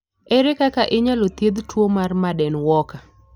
Ere kaka inyalo thiedh tuwo mar Marden Walker?